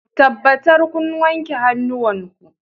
Tabbatar kun wanke hannuwanku